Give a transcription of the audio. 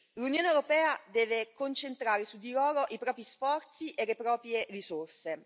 L'Unione europea deve concentrare su di loro i propri sforzi e le proprie risorse.